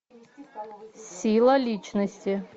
сила личности